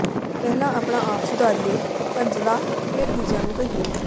ਪਹਿਲਾਂ ਆਪਣਾ ਆਪ ਸੁਧਾਰੀਏ ਧੰਜਲ਼ਾ ਫੇਰ ਦੂਜਿਆਂ ਨੂੰ ਕਹੀਏ